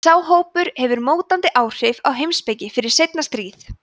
sá hópur hafði mótandi áhrif á heimspeki fyrir seinna stríð